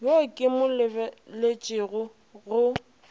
yo ke mo lebeletšego go